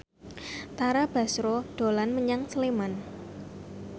Tara Basro dolan menyang Sleman